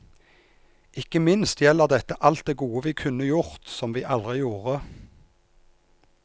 Ikke minst gjelder dette alt det gode vi kunne gjort som vi aldri gjorde.